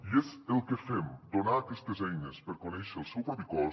i és el que fem donar aquestes eines per conèixer el seu propi cos